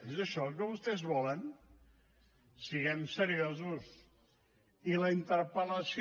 és això el que vostès volen siguem seriosos i la interpel·lació